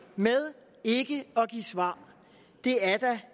med ikke at give svar det er da